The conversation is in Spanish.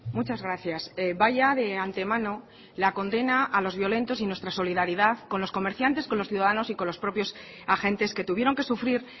muchas gracias vaya de antemano la condena a los violentos y nuestra solidaridad con los comerciantes con los ciudadanos y con los propios agentes que tuvieron que sufrir